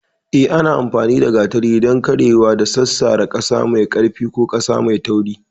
Yes, ana amfani da gatari don karyewa da sassara ƙasa mai ƙarfi ko ƙasa mai tauri.